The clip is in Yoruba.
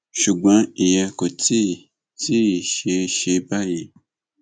ṣùgbọn ìyẹn kò tí ì tí ì ṣeé ṣe báyìí